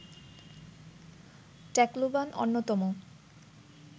Tacloban অন্যতম